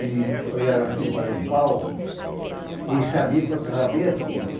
Ele olhava assim para um pau e sabia quantas abelhas tinha.